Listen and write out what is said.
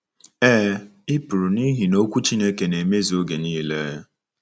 Ee, i pụrụ n’ihi na Okwu Chineke na-emezu oge nile.